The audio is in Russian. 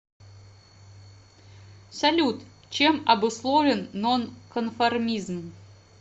салют чем обусловлен нонконформизм